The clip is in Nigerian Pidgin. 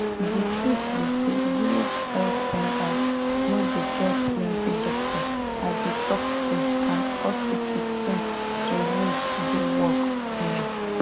de truth be say village health centers no dey get plenti doctor i dey talk true and hospital thing to use do work um